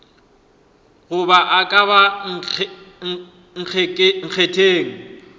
goba a ka ba nkgetheng